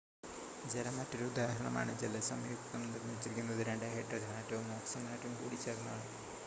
ജലം മറ്റൊരു ഉദാഹരണമാണ് ജലസംയുക്തം നിർമ്മിച്ചിരിക്കുന്നത് 2 ഹൈഡ്രജൻ ആറ്റവും 1 ഓക്സിജൻ ആറ്റവും കൂടിച്ചേർന്നാണ്